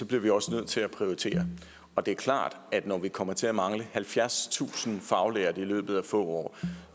bliver vi også nødt til at prioritere og det er klart at når vi kommer til at mangle halvfjerdstusind faglærte i løbet af få år